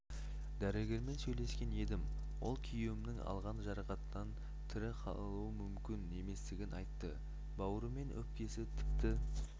дәрігермен сөйлескен едім ол күйеуімнің алған жарақаттан тірі қалуы мүмкін еместігін айтты бауыры мен өкпесі тіпті